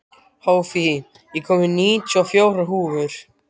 Hófí, ég kom með níutíu og fjórar húfur!